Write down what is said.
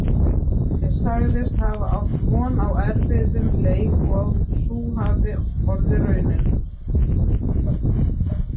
Glódís sagðist hafa átt von á erfiðum leik og að sú hafi orðið raunin.